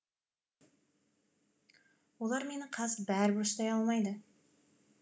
олар мені қазір бәрібір ұстай алмайды